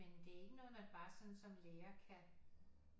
Men det er ikke noget man bare sådan som lærer kan